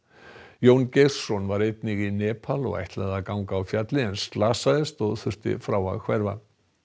Jón Geirsson var einnig í Nepal og ætlaði að ganga á fjallið en slasaðist og þurfti frá að hverfa